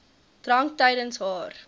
drank tydens haar